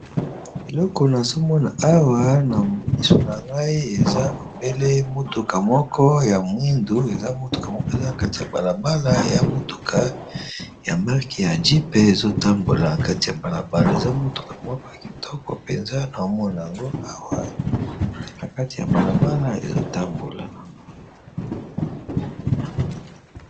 eleko nazomona awa na misu na ngai eza obele motuka moko ya mwindu eza motuka moko eza na kati ya balabala ya motuka ya market ya jp ezotambola na kati ya balabala eza motuka moko ya kitoko mpenza na omona yango awa eza na kati ya balabala ezotambola nango